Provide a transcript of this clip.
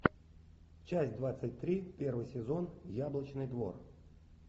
часть двадцать три первый сезон яблочный двор